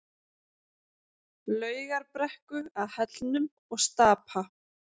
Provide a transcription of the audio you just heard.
Laugarbrekku að Hellnum og Stapa.